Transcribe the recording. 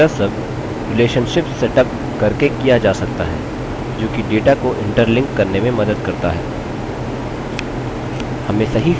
यह सब relationships setup करके किया जा सकता है जोकि data को interlink करने में मदद करता है